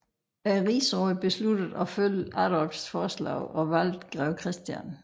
Rigsrådet besluttede at følge Adolfs forslag og valgte grev Christian